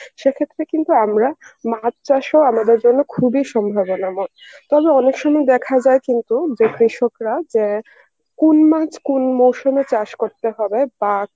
সে ক্ষেত্রে কিন্তু আমরা মাছ চাষও আমাদের জন্য খুবই সম্ভাবনাময়. তবে অনেক সময় দেখা যায় কিন্তু যে কৃষকরা যে কোন মাছ কোন মরশুমে চাষ করতে হবে তা